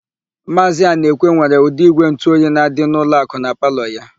Maazị Anaekwe nwere ụdị ígwèntụoyi na-adị n'ụlọakụ na palọ ya.